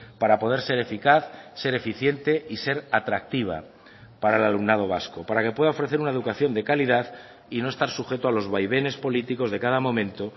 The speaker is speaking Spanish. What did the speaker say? para poder ser eficaz ser eficiente y ser atractiva para el alumnado vasco para que pueda ofrecer una educación de calidad y no estar sujeto a los vaivenes políticos de cada momento